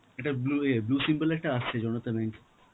একটা blue এ~, blue symbol এ একটা আসছে জনতা bank.